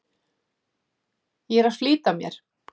Ég er að flýta mér!